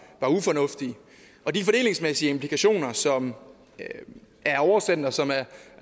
ufornuftige og de fordelingsmæssige implikationer som er oversendt og som er